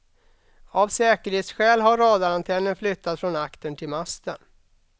Av säkerhetsskäl har radarantennen flyttats från aktern till masten.